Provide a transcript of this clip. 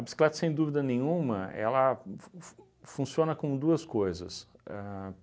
sem dúvida nenhuma, ela f f funciona com duas coisas. Ahn